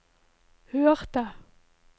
hørte